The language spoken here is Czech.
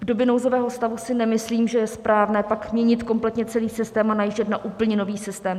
V době nouzového stavu si nemyslím, že je správné pak měnit kompletně celý systém a najíždět na úplně nový systém.